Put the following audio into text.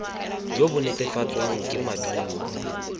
jo bo netefatswang ke maduo